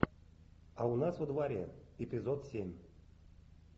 а у нас во дворе эпизод семь